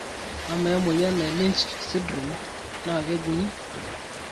ama emoyian e Lynch syndrome naa kejung'i?